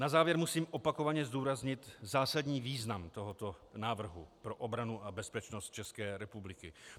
Na závěr musím opakovaně zdůraznit zásadní význam tohoto návrhu pro obranu a bezpečnost České republiky.